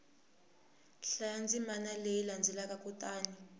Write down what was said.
hlaya ndzimana leyi landzelaka kutani